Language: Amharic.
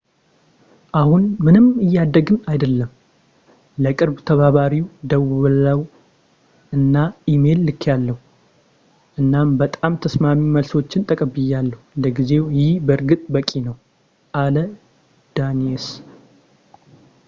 አሁን ምንም እያደግን አይደለም ለቅርብ ተባባሪው ደውያለሁ አና ኢሜይል ልክያለሁ እናም በጣም ተስማሚ መልሶችን ተቀብያለሁ ለጊዜው ይህ በእርግጥ በቂ ነው አለ ዳኒየስ